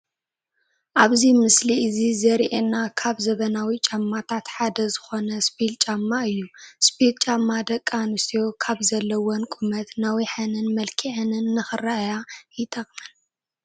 ኣብዚ ምስሊ እዚ ዘሪኤና ካብ ዘበናዊ ጫማታት ሓደ ዝኾነ ስፒል ጫማ እዩ፡፡ ስፒል ጫማ ደቂ ኣንስትዮ ካብ ዘለዎን ቁመት ነዊሐንን መልኪዐንን ንኽረአያ ይጠቕመን፡፡